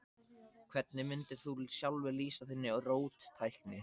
Hvernig mundir þú sjálfur lýsa þinni róttækni?